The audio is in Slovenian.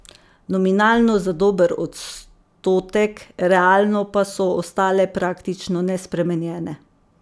Nominalno za dober odstotek, realno pa so ostale praktično nespremenjene.